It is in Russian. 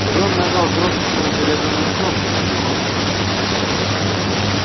и рон нажал крошечную серебряную кнопку на приборной доске